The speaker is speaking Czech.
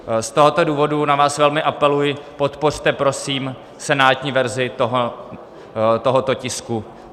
Z tohoto důvodu na vás velmi apeluji, podpořte prosím senátní verzi tohoto tisku.